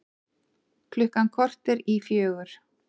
Klukkan korter í fjögur